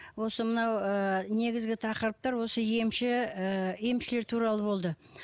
осы мынау ы негізгі тақырыптар осы емші ы емшілер туралы болды